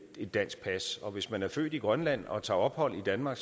et dansk pas og hvis man er født i grønland og tager ophold i danmark